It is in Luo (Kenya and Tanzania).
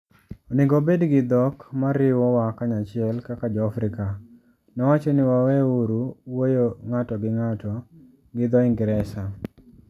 Onego wabed gi dhok ma riwowa kanyachiel kaka Jo - Afrika... Nowacho ni waweuru wuoyo ng`ato gi ng`ato gi dho Ingresa.